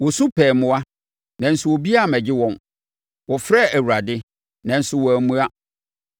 Wɔsu pɛɛ mmoa, nanso obiara ammɛgye wɔn, wɔfrɛɛ Awurade, nanso wammua.